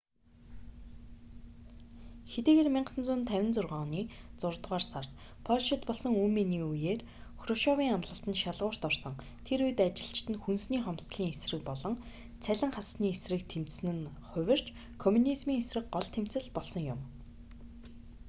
хэдийгээр 1956 оны зургаадугаар сард польшид болсон үймээний үеээр хрушёвийн амлалт нь шалгуурт орсон тэр үед ажилчид нь хүнсний хомсдолын эсрэг болон цалин хассаны эсрэг тэмцэсэн нь хувирч комунизмийн эсрэг гол тэмцэл болсон юм